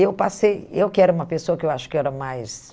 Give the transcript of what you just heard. Eu passei eu que era uma pessoa que eu acho que era mais...